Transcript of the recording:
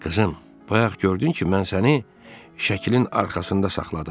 Qızım, bayaq gördün ki, mən səni şəklin arxasında saxladım.